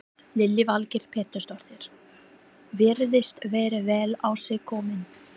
Lillý Valgerður Pétursdóttir: Virðist vera vel á sig kominn?